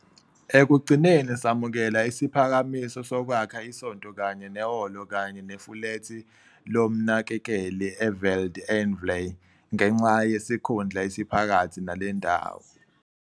ekugcineni samukela isiphakamiso sokwakha isonto kanye nehholo kanye nefulethi lomnakekeli eVeld en Vlei ngenxa yesikhundla esiphakathi nale ndawo.